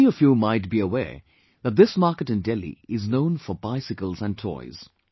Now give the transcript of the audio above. Many of you might be aware that this market in Delhi is known for bicycles and toys